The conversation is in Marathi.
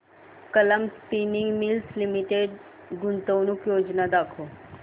कलाम स्पिनिंग मिल्स लिमिटेड गुंतवणूक योजना दाखव